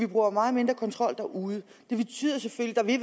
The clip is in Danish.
bruge meget mindre kontrol derude det betyder selvfølgelig